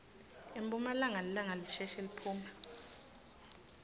emphumalanga lilanga lisheshe liphume